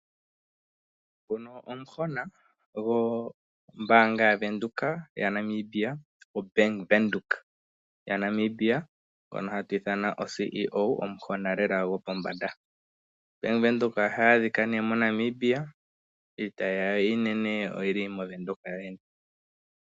Nguno omuhona gombaanga yaVenduka yaNamibia ngono hatu ithana oCEO omuhona lela gopombanda. Bank Windhoek ohayi adhika ne moNamibia iitayi yawo iinene oyili moVenduka.